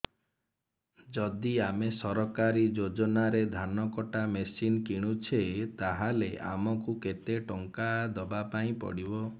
ଯଦି ଆମେ ସରକାରୀ ଯୋଜନାରେ ଧାନ କଟା ମେସିନ୍ କିଣୁଛେ ତାହାଲେ ଆମକୁ କେତେ ଟଙ୍କା ଦବାପାଇଁ ପଡିବ